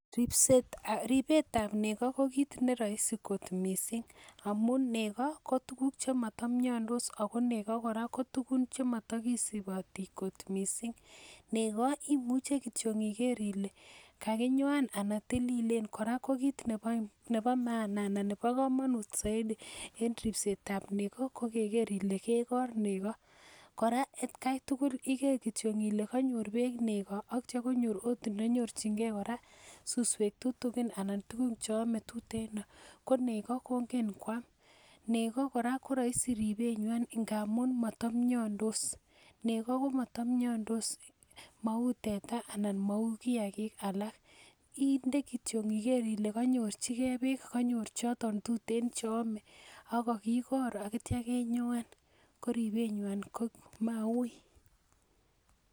Ribetab nego ko kit neroisi kot missing amun nego ko tuguk chemotomiondos ako nego kora ko tuguk chemotokisiboti kot missing nego imuche kityok iker ile kakinyoan ana tililen kora ko kit nebo maana ana nebo komonut soiti en ripset ab nego ko iker ile kekor nego kora atkai tugul iker kityok ile konyor beek nego ak itya konyor ot ndonyorchingee kora suswek tutugin ana tugun cheome tuteno ko nego kongen koam nego koroisi ribet nywan ngamun motomiondos, nego ko motomiondos mou teta ana mou kiagik alak inde kityo iker ile konyorchigee beek kanyor choton tuten cheome ak kokikor ak itya kenyoan koribet nywan ko mauui